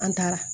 An taara